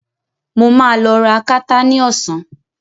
Mo ma lọ ra akátá ní Ọsàn